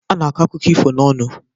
A na-akọ akụkọ ifo n'ọnụ.